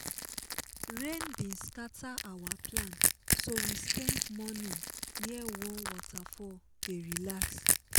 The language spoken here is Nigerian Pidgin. rain bin scatter our plan so we spend morning near one waterfall dey relax.